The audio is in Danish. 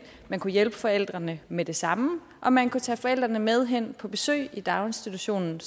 man kunne hjælpe forældrene med det samme og at man kunne tage forældrene med hen på besøg i daginstitutionen